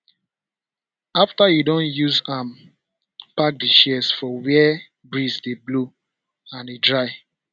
after you don use am park di shears for where breeze dey blow and e dry